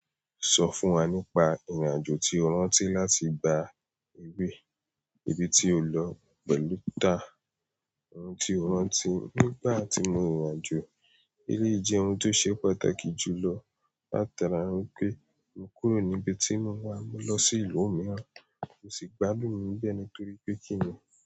Sọ fún wa nípa ìrìn-àjò tí o rántí láti gba eré, ibi tí o lọ pẹ̀lú ta, ohun tí o rántí nígbà tí mo rin ìrìn-àjò. Eléyìí jẹ́ ohun tó ṣe pàtàkì jùlọ látara wipe mo kúrò ní ibi tí mo wà mo lọ sí ìlú mìíràn. Kò sì gbadun níbẹ́ẹ̀ nítorí pé kí ni?